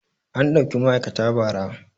An ɗauki ma'aikata ba ra